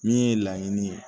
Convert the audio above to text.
Min ye laɲini ye